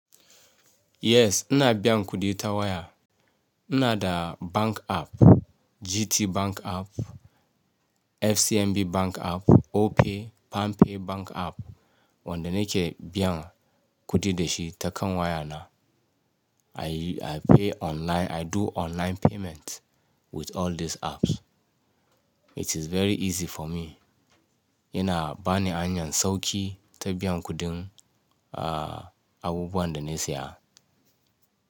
Yes, ina biyan kudi ta waya. Ina da bank app, GT Bank app, FCMB Bank app, Opay, PalmPay Bank app, wanda nike biyan kudi da shi ta kan waya na. I, I pay online, I do online payment with all these apps. It is very easy for me. Ina bani hanyan sauki ta biyan kudin, uh, abubuwan da na siya.